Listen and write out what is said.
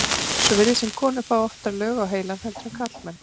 svo virðist sem konur fái oftar lög á heilann heldur en karlmenn